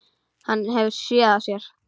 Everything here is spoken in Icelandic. Hann hefur SÉÐ AÐ SÉR.